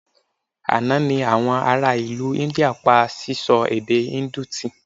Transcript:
Àná ni àwọn ará India pa síṣọ èdè Indu tì